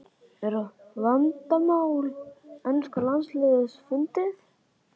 Er vandamál enska landsliðsins fundið?